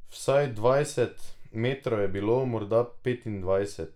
Vsaj dvajset metrov je bilo, morda petindvajset.